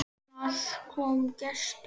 Annars kom gestur.